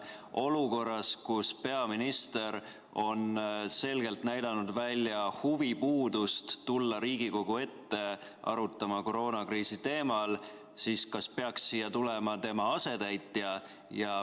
Kas olukorras, kus peaminister on selgelt näidanud välja huvipuudust tulla Riigikogu ette arutama koroonakriisi teemal, peaks siia tulema tema asetäitja?